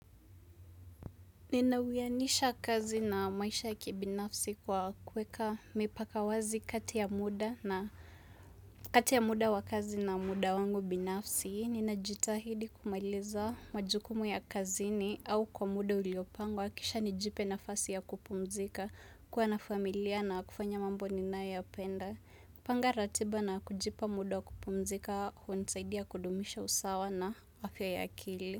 Ninauwianisha kazi na maisha ya kibinafsi kwa kuweka mipaka wazi kati ya muda na kati ya muda wa kazi na muda wangu binafsi. Ninajitahidi kumailiza majukumu ya kazini au kwa muda uliopangwa kisha nijipe nafasi ya kupumzika kuwa na familia na kufanya mambo ninayopenda. Panga ratiba na kujipa muda wa kupumzika hunasaidia kudumisha usawa na afya ya akili.